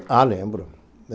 Ah, lembro.